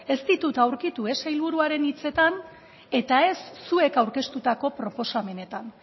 ez ditut aurkitu ez sailburuaren hitzetan eta ez zuek aurkeztutako proposamenetan